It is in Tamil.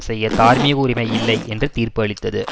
செய்ய தார்மீக உரிமை இல்லை என்று தீர்ப்பு அளித்தது